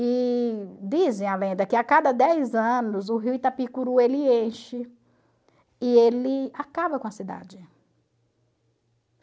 E dizem a lenda que a cada dez anos o rio Itapicuru ele enche e ele acaba com a cidade.